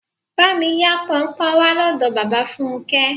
Bá mi yá Pọnpọ́n wá lọ́dọ̀ bàbá Fúnké.